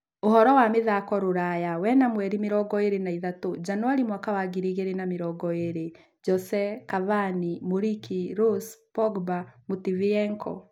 Ũhoro wa mĩthako rũraya wena mweri mĩrongo ĩĩrĩ na ithatũ janũarĩ mwaka wangiri igĩrĩ na mĩrongo ĩĩrĩ: Jose, Cavani, Muriqi, Rose, Pogba, Matviyenko